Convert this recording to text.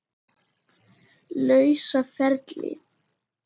lausa ferli.